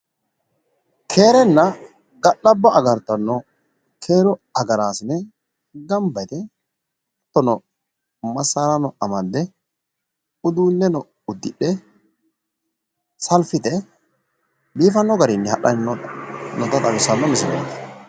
keerenna ga'labbo agartanno keeru agaraasine ganba yite hattono masaarano amadde uduunneno uddidhe salfite biifanno garinni hadhanni noo misileeti.